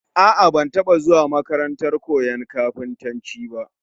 A'a, ban taba zuwa makarantar koyon kafintanci ba